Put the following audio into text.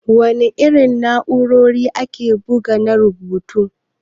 Da wana irin na'ura ake bugu na rubutu?